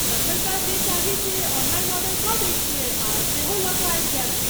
तखन तँ जे चाही से ऑनलाइन ऑर्डर कऽ दैत छियैक आ सेहो लऽ कऽ आबि जायब।